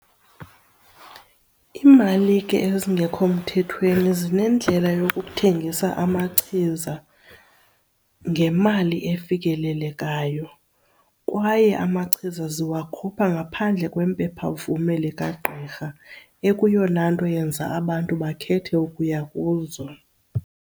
Imalike ezingekho mthethweni zinendlela yokuthengisa amachiza ngemali efikelelekayo kwaye amachiza ziwakhupha ngaphandle kwempephamvume likagqirha, ekuyona nto yenza abantu bakhethe ukuya kuzo.